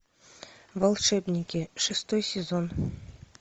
волшебники шестой сезон